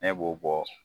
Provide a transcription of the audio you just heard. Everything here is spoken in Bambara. Ne b'o bɔ